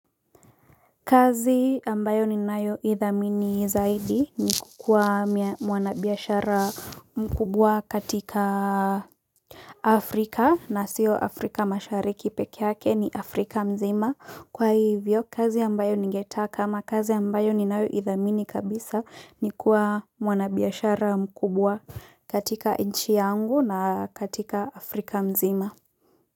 Kazi ambayo ninayo idhamini zaidi ni kukuwa mwanabiashara mkubwa katika Afrika na siyo Afrika mashariki peke yake, ni Afrika mzima, kwa hivyo kazi ambayo ningetaka kama kazi ambayo ni nayoidhamini kabisa ni kuwa mwanabiashara mkubwa katika nchi yangu na katika Afrika mzima.